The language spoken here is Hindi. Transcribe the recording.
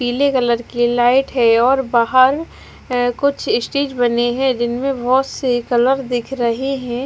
पीले कलर की लाइट है और बाहर कुछ इस्टेज बने है जिनमे बहोत ही कलर दिख रहे है।